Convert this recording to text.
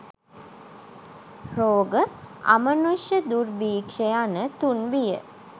රෝග, අමනුෂ්‍ය, දුර්භික්‍ෂ යන තුන් බිය